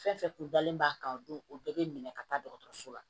Fɛn fɛn kun dalen b'a kan o don o bɛɛ bɛ minɛ ka taa dɔgɔtɔrɔso la